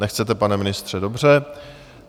Nechcete, pane ministře, dobře.